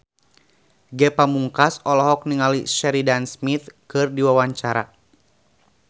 Ge Pamungkas olohok ningali Sheridan Smith keur diwawancara